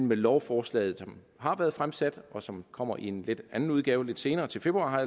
med lovforslaget som har været fremsat og som kommer i en lidt anden udgave lidt senere til februar